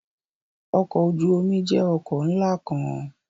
Ọkọ oju omi jẹ ọkọ nla kan